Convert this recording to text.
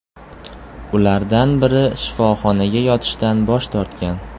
Ulardan biri shifoxonaga yotishdan bosh tortgan.